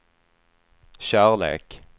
kärlek